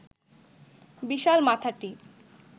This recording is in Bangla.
বিশাল মাথাটি